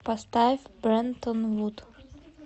поставь брэнтон вуд